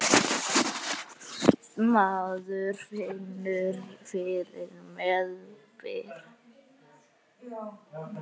Maður finnur fyrir meðbyr.